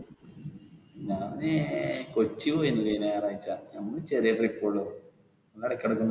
ഞാൻ ഏർ കൊച്ചി പോയിരുന്നു കഴിഞ്ഞ ഞായറാഴ്ച നമുക്ക് ചെറിയ trip ഒള്ളു.